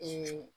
Hinɛ